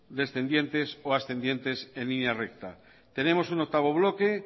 descendientes o ascendientes en línea recta tenemos un octavo bloque